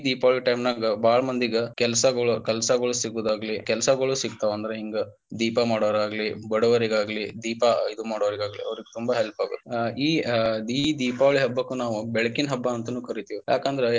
Deepavali time ನಾಗ ಬಾಳ ಮಂದಿಗ ಕೆಲಸಗೋಳ ಸಿಗುದಾಗಲಿ ಕೆಲಸಗೋಳ ಸಿಕ್ತವ ಅಂದ್ರ ಹಿಂಗ ದೀಪ ಮಾಡೋರಾಗ್ಲಿ, ಬಡವರಿಗಾಗಲಿ, ದೀಪ ಇದಮಾಡೋರಾಗ್ಲಿ, ಅವ್ರಿಗೇ ತುಂಬಾ help ಆಗತ್ತ ಈ ದೀಪಾವಳಿ ಹಬ್ಬಕ್ಕ ನಾವ ಬೆಳಕಿನ ಹಬ್ಬ ಅಂತಾನೂ ಕರೀತೀವಿ ಯಾಕಂದ್ರ.